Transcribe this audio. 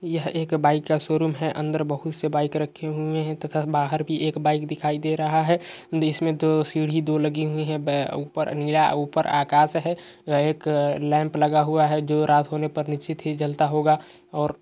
यह एक बाइक का शोरूम है अंदर बोहोत से बाइक रखे हुए हैं तथा बाहर भी एक बाइक दिखाई दे रहा है जिसमे दो सीढी दो लगी हुई हैं और उपर नीला आकाश है यहाँ एक अ लैम्प लगा हुआ है जो रात होने पर निश्चिंत ही जलता होगा और--